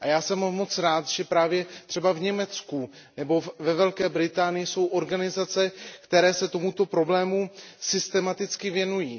A já jsem moc rád, že právě třeba v Německu nebo ve Velké Británii jsou organizace, které se tomuto problému systematicky věnují.